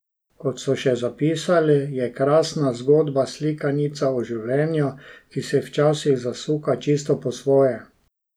Kot so še zapisali, je Krasna zgodba slikanica o življenju, ki se včasih zasuka čisto po svoje.